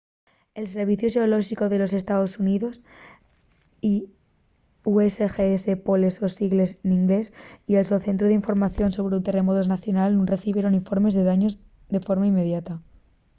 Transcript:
el serviciu xeolóxicu de los estaos xuníos usgs poles sos sigles n’inglés y el so centru d’información sobre terremotos nacional nun recibieron informes de daños de forma inmediata